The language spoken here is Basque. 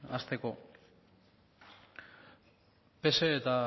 hasteko pse eta